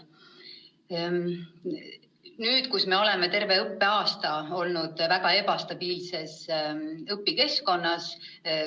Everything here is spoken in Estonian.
Nüüd me oleme terve õppeaasta olnud väga ebastabiilses õpikeskkonnas.